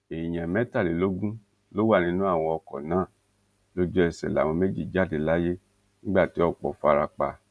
èèyàn mẹtàlélógún ló wà nínú àwọn ọkọ náà lójú ẹsẹ láwọn méjì jáde láyé nígbà tí ọpọ fara pa